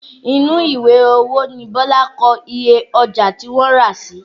Inú ìwé owó ni Bọlá kọ iye ọjà tí wọ́n rà sí